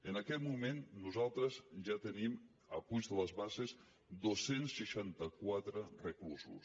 en aquest moment nosaltres ja tenim a puig de les basses dos cents i seixanta quatre reclusos